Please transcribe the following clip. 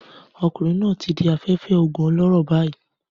Ọmọkùnrin náà ti di afẹ́fẹ́ oògùn olóró báyìí